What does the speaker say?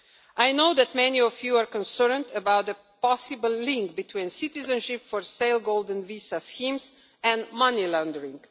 I know that many of you are concerned about the possible link between citizenship for sale golden visa schemes and money laundering.